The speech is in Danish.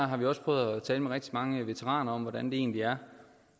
har vi også prøvet at tale med rigtig mange veteraner om hvordan det egentlig er